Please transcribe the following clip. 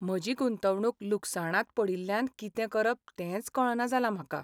म्हजी गुंतवणूक लुकसाणांत पडिल्ल्यान कितें करप तेंच कळना जालां म्हाका.